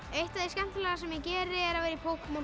eitt af því skemmtilega sem ég geri er að vera í Pókemon